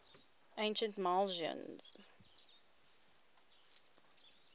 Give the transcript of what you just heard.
ancient milesians